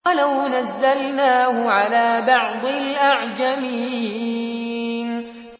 وَلَوْ نَزَّلْنَاهُ عَلَىٰ بَعْضِ الْأَعْجَمِينَ